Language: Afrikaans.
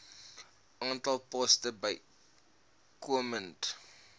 aantal poste bykomend